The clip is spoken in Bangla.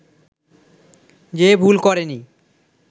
যে ভুল করেনি